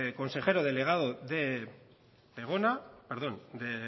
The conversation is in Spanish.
consejero delegado de